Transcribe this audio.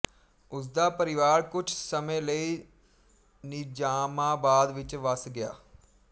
ਉਸਦਾ ਪਰਿਵਾਰ ਕੁਝ ਸਮੇਂ ਲਈ ਨਿਜ਼ਾਮਾਬਾਦ ਵਿਚ ਵਸ ਗਿਆ